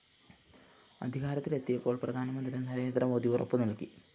അധികാരത്തിലെത്തിയപ്പോള്‍ പ്രധാനമന്ത്രി നരേന്ദ്രമോദി ഉറപ്പുനല്‍കി